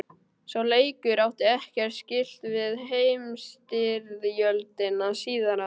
Sá leikur átti ekkert skylt við heimsstyrjöldina síðari.